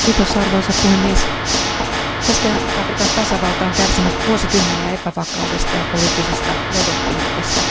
Arvoisa puhemies, Keski Afrikan tasavalta on kärsinyt vuosikymmeniä epävakaudesta ja poliittisesta levottomuudesta.